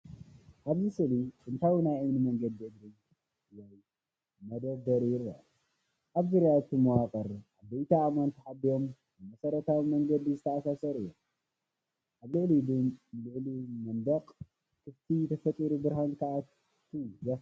ኣብዚ ስእሊ ጥንታዊ ናይ እምኒ መንገዲ እግሪ ወይ መደርደሪ ይርአ። ኣብ ዙርያ እቲ መዋቕር ዓበይቲ ኣእማን ተሓቢኦም፣ ብመሰረታዊ መንገዲ ዝተኣሳሰሩ እዮም። ኣብ ልዕሊኡ ልዑል መንደቕን ክፍተትን ተፈጢሩ ብርሃን ክኣቱ ዘኽእል እዩ።